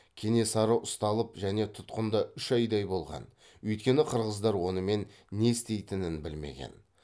кенесары ұсталып және тұтқында үш айдай болған өйткені қырғыздар онымен не істейтінін білмеген